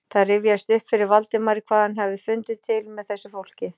Það rifjaðist upp fyrir Valdimari hvað hann hafði fundið til með þessu fólki.